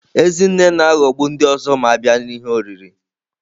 Ezinne na-aghọgbu ndị ọzọ ma a bịa n'ihe oriri.